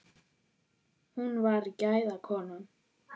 Hún var gæða kona.